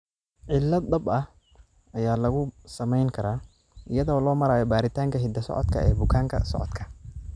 Cilad dhab ah ayaa lagu samayn karaa iyada oo loo marayo baaritaanka hidda-socodka ee bukaan-socodka.